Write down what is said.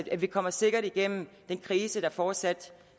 at vi kommer sikkert igennem den krise der fortsat